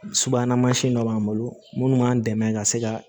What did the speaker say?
Subahana mansin dɔ b'an bolo munnu b'an dɛmɛ ka se ka